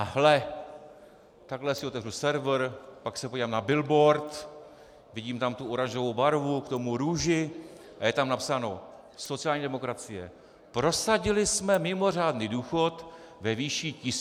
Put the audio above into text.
A hle, takhle si otevřu server, pak se podívám na billboard, vidím tam tu oranžovou barvu, k tomu růži - a je tam napsáno: sociální demokracie - prosadili jsme mimořádný důchod ve výši 1200 korun.